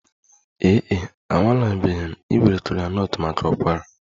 Ee e, anwalebeghị m iwere kola nut maka ụkwara